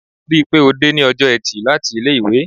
Rí pé ó dé ní ọjọ́ eti láti ilé-ìwé.